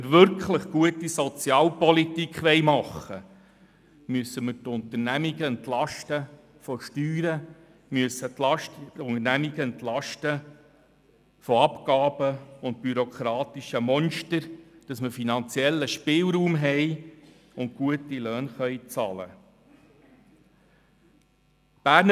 Wenn wir wirklich gute Sozialpolitik machen wollen, müssen wir die Unternehmungen von Steuern, Abgaben und bürokratischen Monstern entlasten, damit wir finanziellen Spielraum haben und gute Löhne bezahlen können.